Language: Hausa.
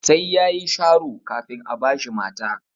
Sai yayi sharo kafin a bashi mata.